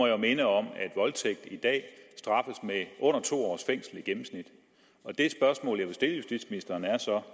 jo minde om at voldtægt i dag straffes med under to års fængsel i gennemsnit og det spørgsmål jeg vil stille justitsministeren er så